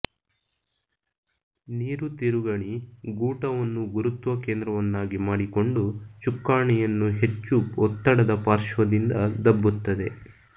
ನೀರು ತಿರುಗಣಿ ಗೂಟವನ್ನು ಗುರುತ್ವ ಕೇಂದ್ರವನ್ನಾಗಿ ಮಾಡಿಕೊಂಡು ಚುಕ್ಕಾಣಿಯನ್ನು ಹೆಚ್ಚು ಒತ್ತಡದ ಪಾಶ್ರ್ವದಿಂದ ದಬ್ಬುತ್ತದೆ